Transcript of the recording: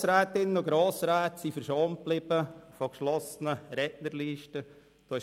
Grossrätinnen und Grossräte blieben von geschlossenen Rednerlisten verschont.